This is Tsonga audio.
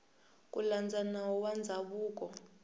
ku landza nawu wa ndzhavuko